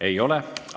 Ei ole.